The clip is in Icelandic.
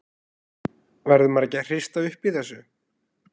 Verður maður ekki að hrista upp í þessu?